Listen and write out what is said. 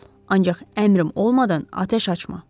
Ancaq əmrim olmadan atəş açma.